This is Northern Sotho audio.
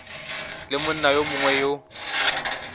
le monna yo mongwe yo